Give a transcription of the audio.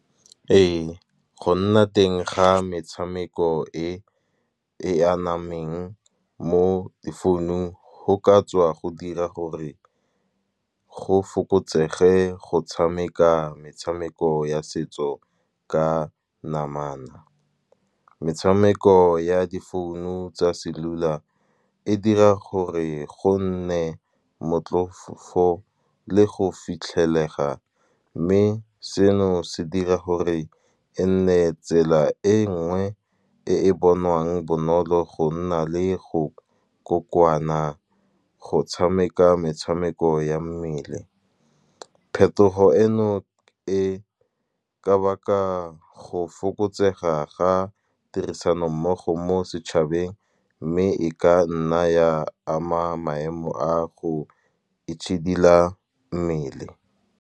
Ee go nna teng ga metshameko e e a nameng mo di founung, go ka tswa go dira gore go fokotsege go tshameka metshameko ya setso ka namana. Metshameko ya di founu tsa cellular, e dira gore go nne motlhofo le go fitlhelega. Mme seno se dira gore e nne tsela e nngwe e e bonwang bonolo, go nna le go kokoana go tshameka metshameko ya mmele. Phetogo eno e ka baka go fokotsega ga tirisanommogo mo setšhabeng, mme e ka nna ya ama maemo a go itšhidila mmele.